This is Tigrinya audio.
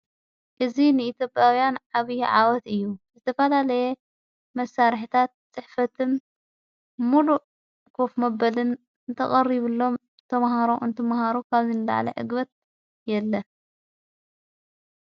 እዝ ንእቲኣብኣውያን ኣብዪ ዓወት እዩ ዝተፋላለየ መሣርሕታት ጽሕፈትን ሙሉ ኽፍ ምበልን እተቐሪብሎም እተምሃሮ እንተምሃሮ ካብዘንለዓለ እግበት የለን።